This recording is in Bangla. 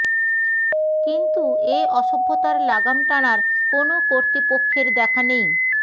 কিন্তু এ অসভ্যতার লাগাম টানার কোনো কর্তৃপক্ষের দেখা নেই